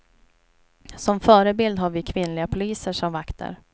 Som förebild har vi kvinnliga poliser som vakter.